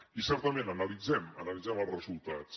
i certament analitzem analitzem els resultats